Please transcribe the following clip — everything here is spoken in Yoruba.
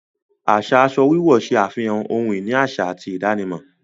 Aṣa aṣọ wíwọ̀ ṣẹ afihàn ọ̀hun-ini aṣa àti ìdànímọ̀